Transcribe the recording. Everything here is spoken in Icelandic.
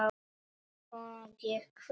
Svona gekk þetta.